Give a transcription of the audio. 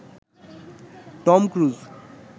Tom cruise